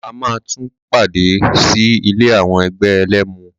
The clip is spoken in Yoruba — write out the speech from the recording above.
A máa tún padà sí ilé àwọn ẹgbẹ́ ẹlẹ́mu.